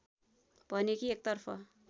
भने कि एकतर्फ